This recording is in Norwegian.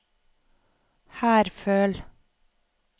Herføl